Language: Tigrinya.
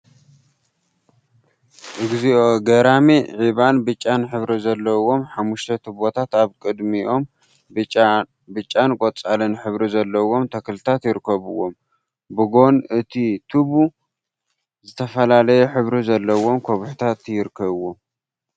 እግዚኦ ገራሚ ዒባን ብጫን ሕብሪ ዘለዎም ሓሙሽተ ቱቦታት አብ ቅድሚኦም ብጫን ቆፃልን ሕብሪ ዘለዎም ተክልታት ይርከቡዎም፡፡ ብጎኑ እቲ ቱቦ ዝተፈላለየ ሕብሪ ዘለዎም ከውሒታት ይርከቡዎም፡፡